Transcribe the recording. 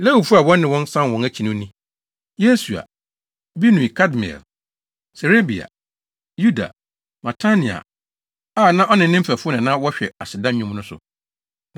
Lewifo a wɔne wɔn san wɔn akyi no ni: Yesua, Binui Kadmiel, Serebia, Yuda, Matania a na ɔne ne mfɛfo na na wɔhwɛ aseda nnwom so no.